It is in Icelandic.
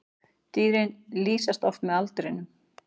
Dýrin lýsast oft með aldrinum.